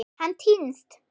Hann týnst?